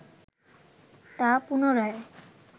তা পুনরায়